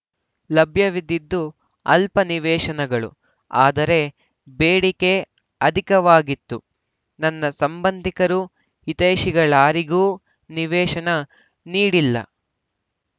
ಲಭ್ಯವಿದ್ದದ್ದು ಅಲ್ಪ ನಿವೇಶನಗಳು ಆದರೆ ಬೇಡಿಕೆ ಅಧಿಕವಾಗಿತ್ತು ನನ್ನ ಸಂಬಂಧಿಕರು ಹಿತೈಶಿಗಳಾರಿಗೂ ನಿವೇಶನ ನೀಡಿಲ್ಲ